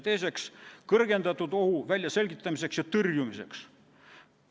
Teiseks, kõrgendatud ohu väljaselgitamiseks ja tõrjumiseks.